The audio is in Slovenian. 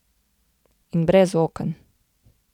In brez oken.